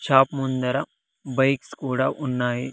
Shop ముందర bikes కూడా ఉన్నాయి.